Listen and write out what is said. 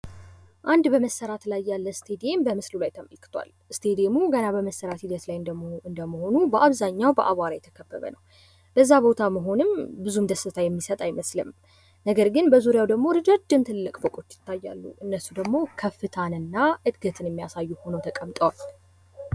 አንድ በመሰራት ላይ ያለ ስቴዲዬም በምስሉ ላይ ተመልክቷል። ስቴዴሙ ገና በመሰራት ሂደት ላይ በመሆኑ በአብዛኛው በአቧራ የተሸፈነ ነው። በዛ ቦታ መሆንም ብዙ ደስታ የሚሰጥ አይመስልም። ነገር ግን በዙሪያው ትልልቅ እረጃጅም ፎቆች ይታያሉ። እነሱ ደሞ ከፍታንና እድገትን የሚያሳዩ ሁነው ተቀምጠዋል።